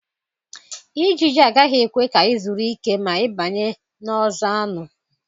Ijiji agaghị ekwe ka ị zuru ike ma ị banye n'ọzọ anụ.